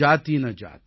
रैदास मनुष ना जुड़ सके